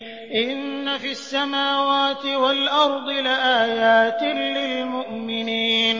إِنَّ فِي السَّمَاوَاتِ وَالْأَرْضِ لَآيَاتٍ لِّلْمُؤْمِنِينَ